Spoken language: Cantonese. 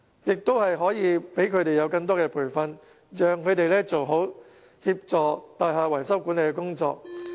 再者，希望當局能向他們提供更多培訓，讓他們做好協助大廈維修管理的工作。